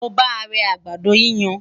mo bá rè àgbàdo yíyan